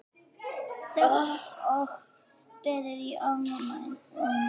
Þögn og beðið í ofvæni.